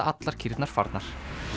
allar kýrnar farnar